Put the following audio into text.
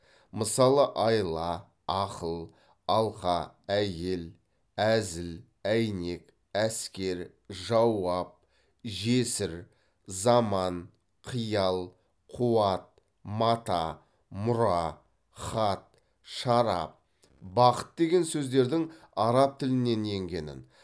мысалы айла ақыл алқа әйел әзіл әйнек әскер жауап жесір заман қиял қуат мата мұра хат шарап бақыт деген сөздердің араб тілінен енгенін